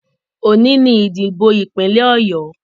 Òní ni ìdìbò ìpínlẹ̀ Ọ̀yọ